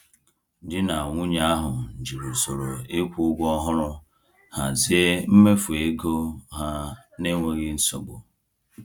Di na nwunye ahụ jiri usoro ịkwụ ụgwọ ọhụrụ hazie mmefu ego ha n’enweghị nsogbu.